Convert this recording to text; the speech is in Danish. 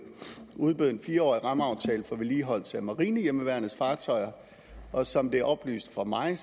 udbød en fire årig rammeaftale for vedligeholdelse af marinehjemmeværnets fartøjer og som det er oplyst for mig